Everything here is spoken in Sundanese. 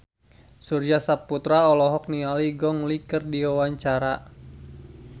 Surya Saputra olohok ningali Gong Li keur diwawancara